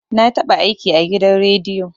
Na taɓa aiki a gidan rediyo